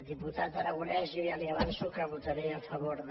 diputat aragonès jo ja li avanço que votaré a favor de